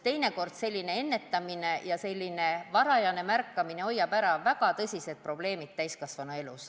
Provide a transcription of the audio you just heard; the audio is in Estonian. Teinekord aitab ennetamine ja varajane märkamine hoida ära väga tõsiseid probleeme täiskasvanuelus.